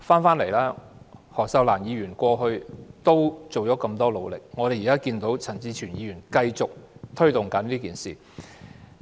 前議員何秀蘭過去很努力推動同志平權，而現在陳志全議員繼續推動。